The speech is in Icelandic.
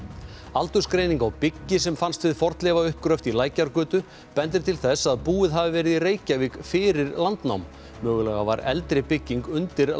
aldursgreining á byggi sem fannst við fornleifauppgröft í Lækjargötu bendir til þess að búið hafi verið í Reykjavík fyrir landnám mögulega var eldri bygging undir